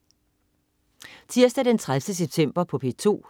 Tirsdag den 30. september - P2: